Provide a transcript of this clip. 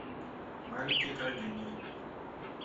маленькие трагедии